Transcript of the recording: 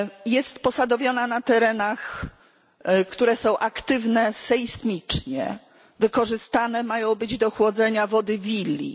Jest posadowiona na terenach, które są aktywne sejsmicznie, wykorzystane mają być do chłodzenia wody Wilii.